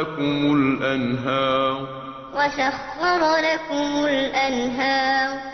بِهِ مِنَ الثَّمَرَاتِ رِزْقًا لَّكُمْ ۖ وَسَخَّرَ لَكُمُ الْفُلْكَ لِتَجْرِيَ فِي الْبَحْرِ بِأَمْرِهِ ۖ وَسَخَّرَ لَكُمُ الْأَنْهَارَ